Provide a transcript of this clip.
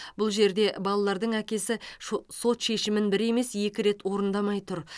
бұл жерде балалардың әкесі шо сот шешімін бір емес екі рет орындамай тұр